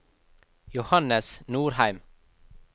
Johannes Norheim